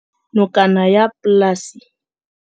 Nokana ya polase